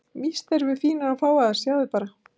Víst erum við fínar og fágaðar, sjáðu bara.